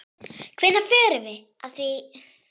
Hvernig förum við að því?